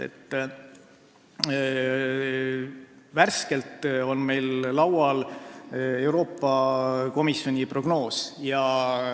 Meil on värskelt laual Euroopa Komisjoni prognoos.